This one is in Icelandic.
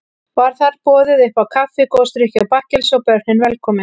Var þar boðið uppá kaffi, gosdrykki og bakkelsi, og börnin velkomin.